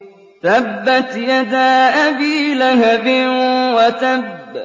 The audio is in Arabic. تَبَّتْ يَدَا أَبِي لَهَبٍ وَتَبَّ